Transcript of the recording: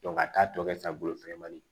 ka taa tɔ kɛ sa bolo fɛnkɛ manin